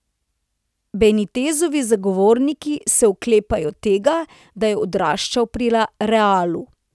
Benitezovi zagovorniki se oklepajo tega, da je odraščal pri Realu.